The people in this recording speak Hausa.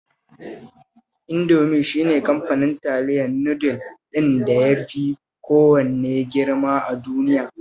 Indofood shi ne kamfanin taliyar nudul ɗin da ya fi kowanne girma a duniya